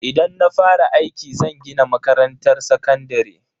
Idan na fara aiki, zan gina makarantar sakandare.